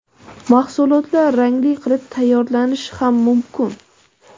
Mahsulotlar rangli qilib tayyorlanishi ham mumkin.